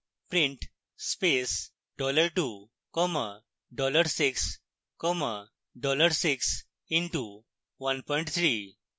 print space dollar 2 comma dollar 6 comma dollar 6 into 13